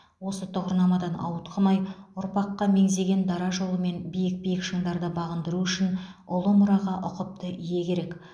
осы тұғырнамадан ауытқымай ұрпаққа меңзеген дара жолымен биік биік шыңдарды бағындыру үшін ұлы мұраға ұқыпты ие керек